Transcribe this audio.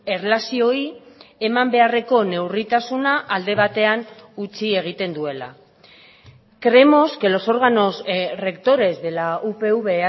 erlazioei eman beharreko neurritasuna alde batean utzi egiten duela creemos que los órganos rectores de la upv